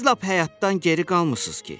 Siz lap həyatdan geri qalmısınız ki?